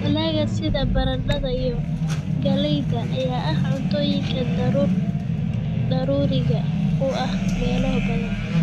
Dalagga sida baradhada iyo galleyda ayaa ah cuntooyinka daruuriga u ah meelo badan.